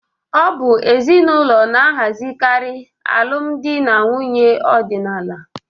Ọ bụ ezinụlọ na-ahazikarị alụmdi na nwunye ọdịnala.